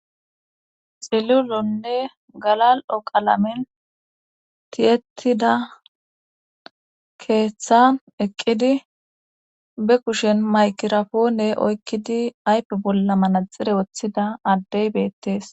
xilulonne galal'o qalamen tiyetida keeththa eqqidi be kushen maykirapoone oykkidi aype bolla manaxire woththida addey beettees.